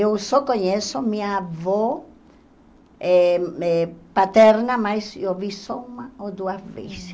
Eu só conheço minha avó eh eh paterna, mas eu vi só uma ou duas vezes.